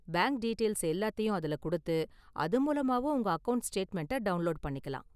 Bank details எல்லாத்தையும் அதுல கொடுத்து, அது மூலமாவும் உங்க அக்கவுண்ட் ஸ்டேட்மெண்டை டவுண்லோடு பண்ணிக்கலாம்.